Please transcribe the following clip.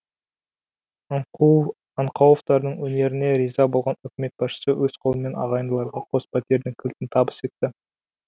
аңқауовтардың өнеріне риза болған үкімет басшысы өз қолымен ағайындыларға қос пәтердің кілтін табыс етті